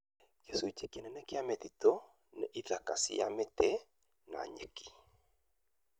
Gĩcunjĩ kĩnene kĩa mĩtitũ nĩ ithaka cia mĩti, na nyeki